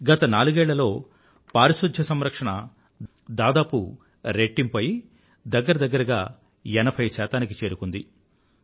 గత నాలుగేళ్లలో పారిశుధ్య సంరక్షణ దాదాపు రెట్టింపు అయి దగ్గర దగ్గరగా ఎనభై శాతానికి చేరుకుంది